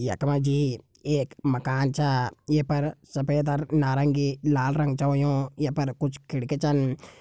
यखमा जी एक मकान छ ये पर सफ़ेद और नारंगी लाल रंग छ होयुं य पर कुछ खिड़की छन।